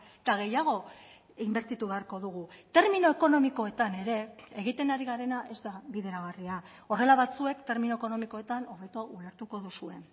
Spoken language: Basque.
eta gehiago inbertitu beharko dugu termino ekonomikoetan ere egiten ari garena ez da bideragarria horrela batzuek termino ekonomikoetan hobeto ulertuko duzue